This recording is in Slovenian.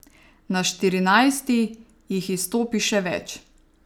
Na Štirinajsti jih izstopi še več.